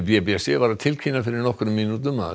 b b c var að tilkynna fyrir nokkrum mínútum að